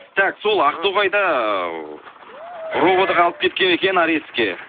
так сол ақтоғайда ы ровд ға алып кеткен екен арестке